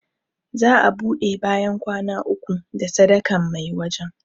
Za a ɓude bayan kwana uku da sadakan mai wajan